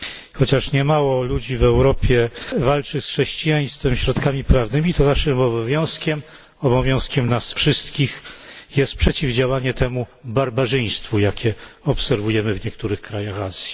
Chociaż niemało ludzi w Europie walczy z chrześcijaństwem środkami prawnymi, to naszym obowiązkiem, obowiązkiem nas wszystkich jest przeciwdziałanie temu barbarzyństwu, jakie obserwujemy w niektórych krajach Azji.